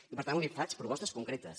i per tant li faig propostes concretes